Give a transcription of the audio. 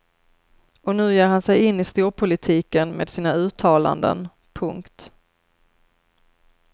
Och nu ger han sig in i storpolitiken med sina uttalanden. punkt